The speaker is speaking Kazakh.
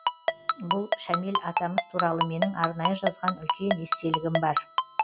бұл шәмел атамыз туралы менің арнайы жазған үлкен естелігім бар